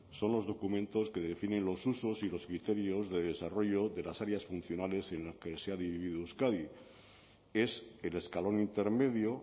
son los documentos que definen los usos y los criterios de desarrollo de las áreas funcionales en las que se ha dividido euskadi es el escalón intermedio